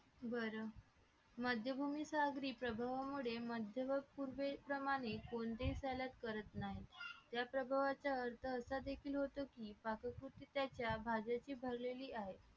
बरं माध्यम भूमीच्या रीप्रभावामुळे मध्य पूर्वे प्रमाणे कोणत्याही salet करत नाही या प्रभावाच्या अर्थ असा देखील होतो की पाककृतीच्या भाज्याचे भरलेले आहे